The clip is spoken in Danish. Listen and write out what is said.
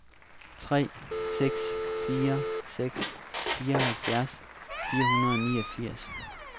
tre seks fire seks fireoghalvfjerds fire hundrede og niogfirs